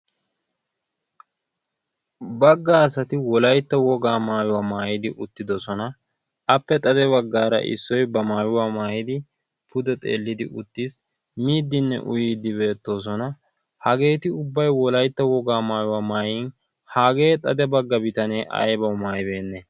bagga asati wolaytto wogaa maayuwaa maayidi uttidosona. appe xade baggaara issoy ba maayuwaa maayidi pude xeellidi uttiis miiddinne uyiiddi beettoosona. hageeti ubbaiywolaitta wogaa maayuwaa maayin hagee xade bagga bitanee aybawu maayibeenne?